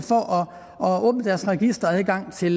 og åbne deres registeradgang til